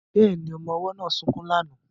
Bẹ́ẹ̀ni, ọmọ ọwọ́ náà sunkún lánàá